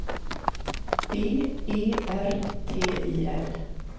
B E R T I L